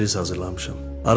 Sənə sürpriz hazırlamışam.